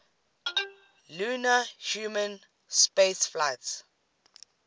lunar human spaceflights